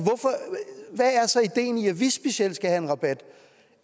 ideen i at vi specielt skal have en rabat